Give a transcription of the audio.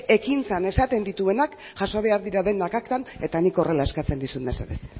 ekintzan esaten dituenak jaso behar dira denak aktan eta nik horrela eskatzen dizut mesedez